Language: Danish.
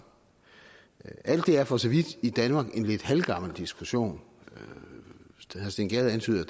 alt det er for så vidt i danmark en lidt halvgammel diskussion herre steen gade antyder at